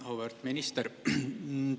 Auväärt minister!